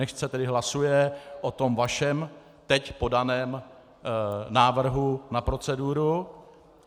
Nechť se tedy hlasuje o tom vašem teď podaném návrhu na proceduru.